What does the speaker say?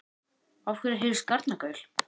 Af hverju heyrist garnagaul?